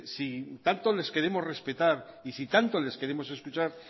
si tanto les queremos respetar y si tanto les queremos escuchar